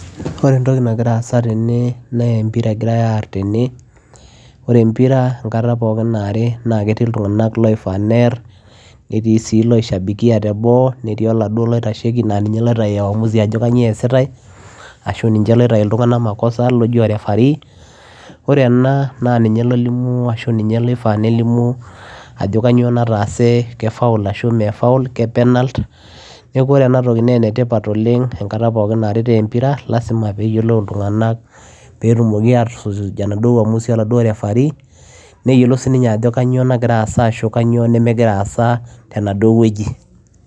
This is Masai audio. ore entoki nagira aasa tene naa empira egirae arr tene ore empira enkata pookin naari naa ketii iltung'anak loifaa nerr netii sii loishabikia teboo netii oladuo loitasheki naa ninye loitai uamuzi ajo kanyio easitae ashu ninche loitai iltung'anak makosa loji o referee ore ena naa ninye lolimu ashu ninye loifaa nelimu ajo kanyio nataase ke foul ashu mee foul ke penalt neku ore enatoki naa enetipat oleng enkata pookin naaritae empira lasima peyiolou iltung'anak petumoki atusuj enaduo uamuzi oladuo referee neyiolou sininye ajo kanyio nagira aasa ashu kanyio nemegira aasa tenaduo wueji.